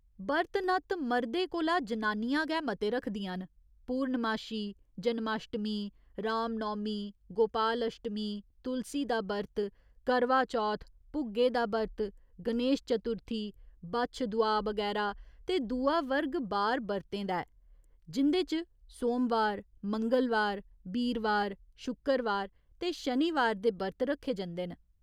बर्त नत्त मर्दे कोला जनानियां गै मते रखदियां न, पूर्णमाशी, जनमाश्टमी, रामनौमी, गोपालश्टमी, तुलसी दा बर्त, करवाचौथ, भुग्गे दा व्रत, गणेश चतुर्थी, बच्छ दुआह् बगैरा ते दूआ वर्ग बार बर्तें दा ऐ, जिं'दे च सोमवार, मंगलवार, बीरवार, शुक्करवार ते शनिवार दे बर्त रक्खे जंदे न।